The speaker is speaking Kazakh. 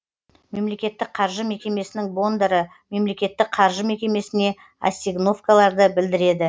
мемлекеттік қаржы мекемесінің бондары мемлекеттік қаржы мекемесіне ассигновкаларды білдіреді